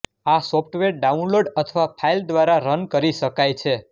આ software download અથવા file દ્વારા રન કરી શકાય છે